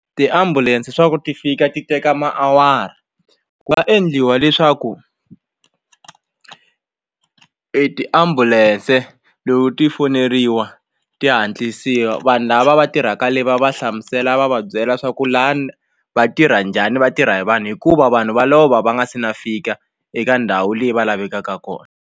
Tiambulense swa ku ti fika ti teka maawara ku nga endliwa leswaku e tiambulance loko ti foneriwa ti hatlisiwa vanhu lava va tirhaka le va va hlamusela va va byela swa ku lani va tirha njhani vatirha hi vanhu hikuva vanhu va lova va nga se na fika eka ndhawu leyi va lavekaka kona.